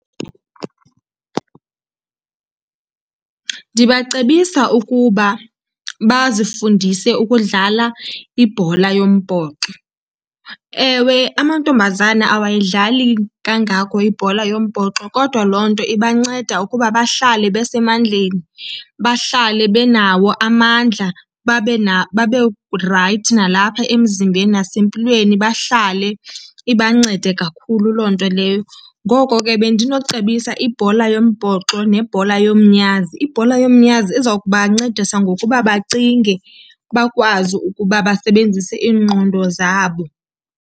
Ndibacebisa ukuba bazifundise ukudlala ibhola yombhoxo. Ewe, amantombazana awayidlali kangako ibhola yombhoxo. Kodwa loo nto ibanceda ukuba bahlale besemandleni, bahlale benawo amandla, babe , babe rayithi nalapha emzimbeni nasempilweni bahlale, ibancede kakhulu loo nto leyo. Ngoko ke bendinocebisa ibhola yombhoxo nebhola yomnyazi. Ibhola yomnyazi iza kubancedisa ngokuba bacinge, bakwazi ukuba basebenzise iingqondo zabo.